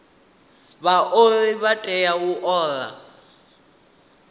vhaoli vha tea u ola